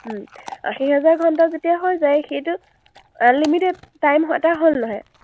উম আশী হাজাৰ ঘণ্টা যেতিয়া হৈ যায়, সেইটো unlimited time এটা হ’ল নহয়?